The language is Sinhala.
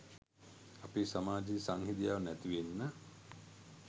අපේ සමාජයේ සංහිඳියාව නැති වෙන්න